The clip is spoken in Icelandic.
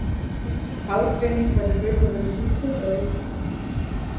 Aðgreining var í raun og veru lítil eða engin.